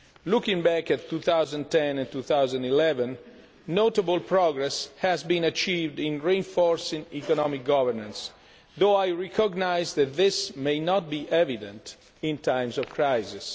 Looking back at 2010 and 2011, notable progress has been achieved in reinforcing economic governance though I recognise that this may not be evident in times of crisis.